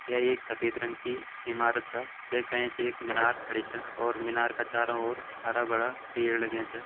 यह एक सफ़ेद रंग की ईमारत छ जेका ऐंच एक मिनार खड़ी छ और मिनार का चारों और हरा - भरा पेड़ लग्यां छ।